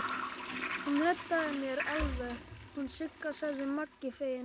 Hún reddaði mér alveg, hún Sigga, sagði Maggi feginn.